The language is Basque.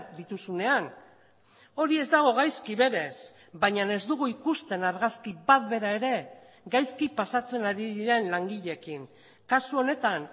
dituzunean hori ez dago gaizki berez baina ez dugu ikusten argazki bat bera ere gaizki pasatzen ari diren langileekin kasu honetan